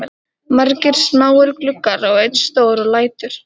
Margir smáir gluggar og einn stór og lætur